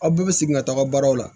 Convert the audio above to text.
Aw bɛɛ bɛ segin ka taaga baaraw la